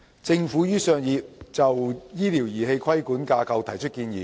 政府於上月就醫療儀器的規管架構提出建議。